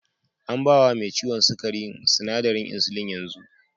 An ba wa me ciwon sukari sinadarin insulin yanzu.